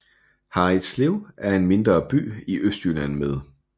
Harridslev er en mindre by i Østjylland med